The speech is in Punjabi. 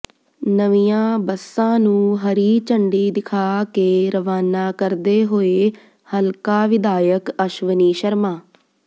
ਨਵੀਆਂ ਬੱਸਾਂ ਨੂੰ ਹਰੀ ਝੰਡੀ ਦਿਖਾ ਕੇ ਰਵਾਨਾ ਕਰਦੇ ਹੋਏ ਹਲਕਾ ਵਿਧਾਇਕ ਅਸ਼ਵਨੀ ਸ਼ਰਮਾ